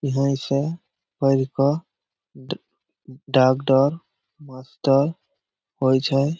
इहे से पढ़ के डा डाक्टर मास्टर होय छै ।